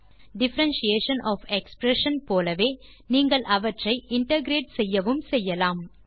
differentiation of expression போலவே நீங்கள் அவற்றை இன்டகிரேட் செய்யவும் செய்யலாம்